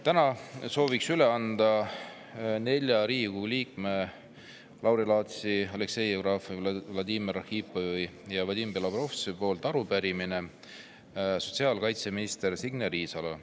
Täna soovin üle anda nelja Riigikogu liikme, Lauri Laatsi, Aleksei Jevgrafovi, Vladimir Arhipovi ja Vadim Belobrovtsevi arupärimise sotsiaalkaitseminister Signe Riisalole.